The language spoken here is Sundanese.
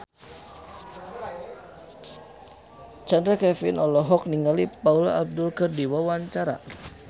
Chand Kelvin olohok ningali Paula Abdul keur diwawancara